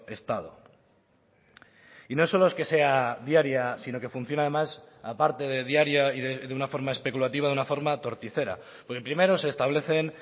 estado y no solo es que sea diaria sino que funciona además aparte de diaria y de una forma especulativa de una forma torticera primero se establecen